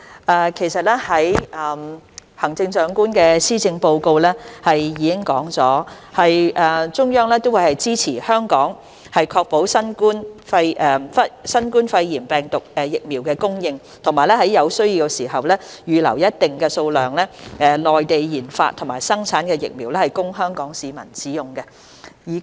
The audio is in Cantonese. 代理主席，行政長官在施政報告中指出，中央會支持香港確保新冠疫苗供應，在有需要時，預留一定數量的內地研發或生產的疫苗供香港市民使用。